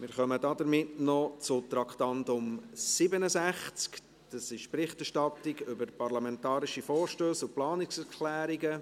Wir kommen damit zum Traktandum 67, die Berichterstattung über parlamentarische Vorstösse und Planungserklärungen.